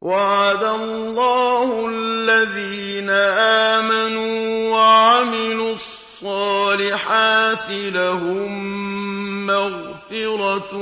وَعَدَ اللَّهُ الَّذِينَ آمَنُوا وَعَمِلُوا الصَّالِحَاتِ ۙ لَهُم مَّغْفِرَةٌ